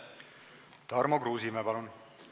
Tarmo Kruusimäe, palun!